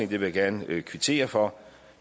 vil jeg gerne kvittere for